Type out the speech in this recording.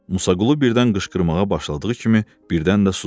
Musaqulu birdən qışqırmağa başladığı kimi birdən də susdu.